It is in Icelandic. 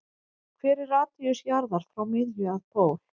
Hver er radíus jarðar frá miðju að pól?